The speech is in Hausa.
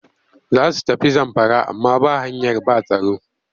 Za su tafi Zamfara amma ba hanyar ba tsaro